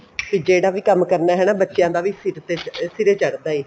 ਜਿਹੜਾ ਵੀ ਕੰਮ ਕਰਨਾ ਹਨਾ ਬੱਚਿਆਂ ਦਾ ਵੀ ਸਿਰੇ ਚੜਦਾ ਏ